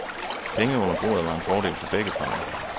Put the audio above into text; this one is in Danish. Penge under bordet var en fordel for begge parter.